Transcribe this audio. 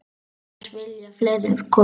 Annars vilja fleiri koma með.